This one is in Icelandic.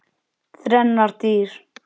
Þrennar dyr.